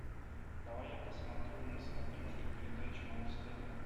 давай я посмотрю на смотрешке передачу муз тв